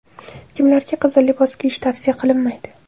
Kimlarga qizil libos kiyish tavsiya qilinmaydi?.